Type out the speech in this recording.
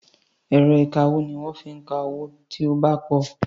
Ẹ̀rọ ìkawó ni wọ́n fi ń ka owó tí ó bá pọ̀.